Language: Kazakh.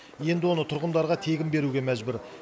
енді оны тұрғындарға тегін беруге мәжбүр